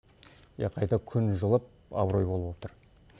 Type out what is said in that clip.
иә қайта күн жылып абырой болып отыр